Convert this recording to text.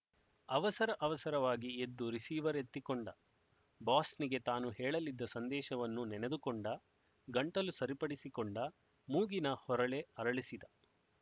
ಅವಸರ ಅವಸರವಾಗಿ ಎದ್ದು ರಿಸೀವರ್ ಎತ್ತಿಕೊಂಡ ಬಾಸ್‍ನಿಗೆ ತಾನು ಹೇಳಲಿದ್ದ ಸಂದೇಶವನ್ನು ನೆನೆದುಕೊಂಡ ಗಂಟಲು ಸರಿಪಡಿಸಿಕೊಂಡ ಮೂಗಿನ ಹೊರಳೆ ಅರಳಿಸಿದ